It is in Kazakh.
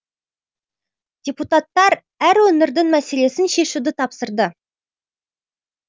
депутаттар әр өңірдің мәселесін шешуді тапсырды